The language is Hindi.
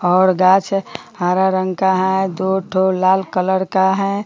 और गाछ हरा रंग का है दो ठो लाल कलर का है।